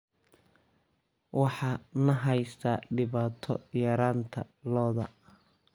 Waxaa na haysata dhibaato yaraanta lo'da.